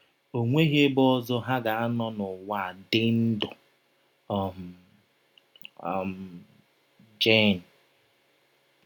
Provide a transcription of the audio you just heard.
E nweghị ebe ọzọ ha ga - anọ n’ụwa dị ndụ. um —. um — Jen.